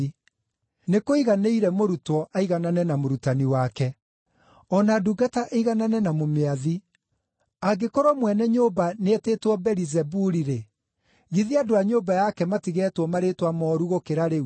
Nĩkũiganĩire mũrutwo aiganane na mũrutani wake, o na ndungata ĩiganane na mũmĩathi. Angĩkorwo mwene nyũmba nĩetĩtwo Beelizebuli-rĩ, githĩ andũ a nyũmba yake matigetwo marĩĩtwa mooru gũkĩra rĩu!